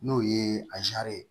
N'o ye ye